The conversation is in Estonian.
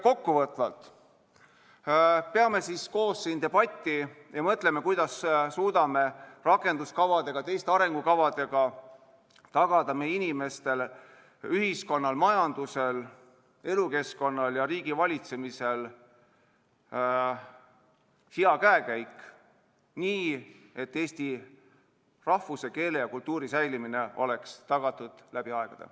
Kokkuvõtvalt: peame koos siin debatti ja mõtleme, kuidas suudame rakenduskavadega, teiste arengukavadega tagada meie inimeste, ühiskonna, majanduse, elukeskkonna ja riigivalitsemise hea käekäigu, nii et eesti rahvuse, keele ja kultuuri säilimine oleks tagatud läbi aegade.